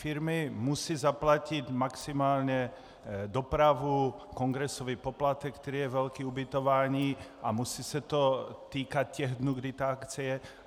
Firmy musí zaplatit maximálně dopravu, kongresový poplatek, který je velký, ubytování a musí se to týkat těch dnů, kdy ta akce je.